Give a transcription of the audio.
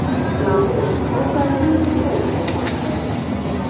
Lárus, bókaðu hring í golf á mánudaginn.